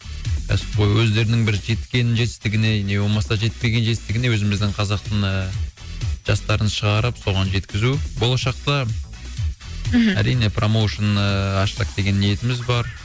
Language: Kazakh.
кәсіпқой өздерінің бір жеткен жетістігіне не болмаса жетпеген жетістігіне өзіміздің қазақтың ыыы жастарын шығарып соған жеткізу болашақта мхм әрине промоушн ыыы ашсақ деген ниетіміз бар